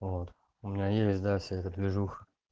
вот у меня есть да вся эта движуха